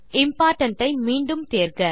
important ஐ மீண்டும் தேர்க